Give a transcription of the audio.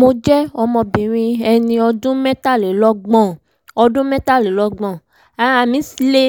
mo jẹ́ ọmọbìnrin ẹni ọdún mẹ́tàlélọ́gbọ̀n ọdún mẹ́tàlélọ́gbọ̀n ara mí le